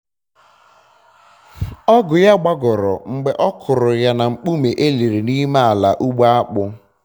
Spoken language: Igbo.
ọgụ ya gbagọrọ mgbe ọ kụrụ ya na nkpume eliri n'ime ala ugbo akpụ